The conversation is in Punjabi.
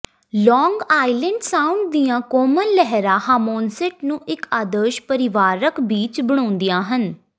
ਲਾਂਗ ਆਈਲੈਂਡ ਸਾਊਂਡ ਦੀਆਂ ਕੋਮਲ ਲਹਿਰਾਂ ਹਾਮੋਨਸੇਟ ਨੂੰ ਇੱਕ ਆਦਰਸ਼ ਪਰਿਵਾਰਕ ਬੀਚ ਬਣਾਉਂਦੀਆਂ ਹਨ